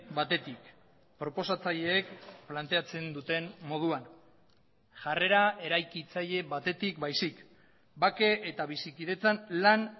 batetik proposatzaileek planteatzen duten moduan jarrera eraikitzaile batetik baizik bake eta bizikidetzan lan